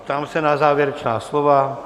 Ptám se na závěrečná slova.